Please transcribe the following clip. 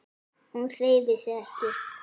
Hún hreyfir sig ekki.